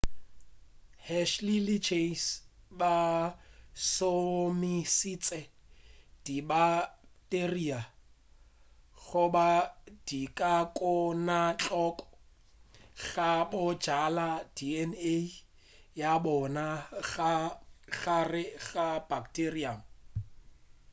hershey le chase ba šomišitše dibakteria goba dikokwanahloko go bjala dna ya bona ka gare ga bacterium